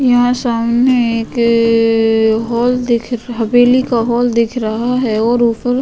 यहां सामने एक क अ हॉल दिख हवेली का हॉल दिख रहा है और ऊपर --